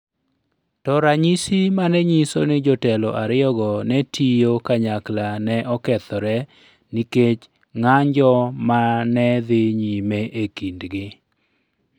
To ranyisi ma ne nyiso ni jotelo ariyogo ne tiyo kanyakla ne okethore nikech ng’anjo ma ne dhi nyime e kindgi.